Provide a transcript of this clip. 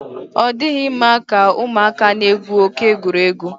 ọ dịghị mma ka ụmụaka na-egwu oke egwuregwu.